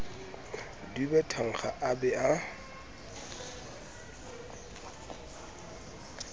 dube thankga a be a